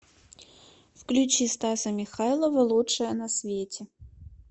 включи стаса михайлова лучшая на свете